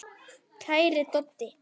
Kæri Doddi.